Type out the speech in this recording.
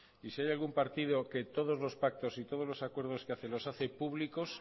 y si hay algún partido que todos los pactos y todos los acuerdos que hace los hace públicos